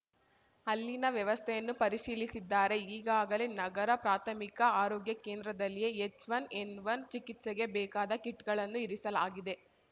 ಅಲ್ಲಿನ ವ್ಯವಸ್ಥೆಯನ್ನು ಪರಿಶೀಲಿಸಿದ್ದಾರೆ ಈಗಾಗಲೇ ನಗರ ಪ್ರಾಥಮಿಕ ಆರೋಗ್ಯ ಕೇಂದ್ರದಲ್ಲಿಯೇ ಎಚ್‌ವನ್ ಎನ್‌ವನ್ ಚಿಕಿತ್ಸೆಗೆ ಬೇಕಾದ ಕಿಟ್‌ಗಳನ್ನು ಇರಿಸಲಾಗಿದೆ